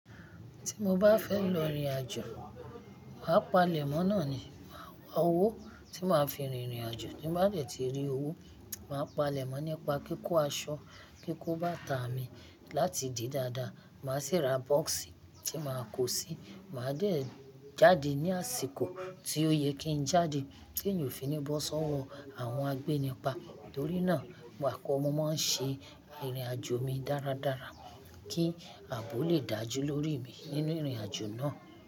Tí mo bá fẹ́ lọ ìrìnàjò, màá palẹ̀mọ́ náà ni. Owó tí màá fi rin ìrìnàjò, tí màá dẹ̀ ti rí owó, màá palẹ̀mọ́ nípa kíkó aṣọ, kíkó bàtà mi láti di dáadáa. Màá sì ra box tí màá kó sí. Màá dẹ̀ jáde ní àsìkò tí ó yẹ kí n jáde kí n yóò fi ní bọ́ sọ́wọ́ àwọn agbénipa. Nítorí náà, wàkọ̀ mọ máa ń ṣe ìrìnàjò mi dáradára kí àbọ̀ lè dájú lórí mi nínú ìrìnàjò náà.